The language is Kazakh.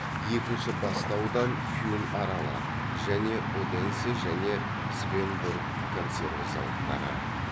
екінші басты аудан фюн аралы және оденсе және свеннборг консерва зауыттары